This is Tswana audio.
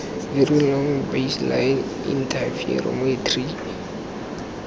very long baseline interferometry vlbi